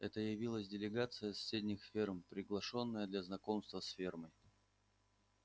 это явилась делегация с соседних ферм приглашённая для знакомства с фермой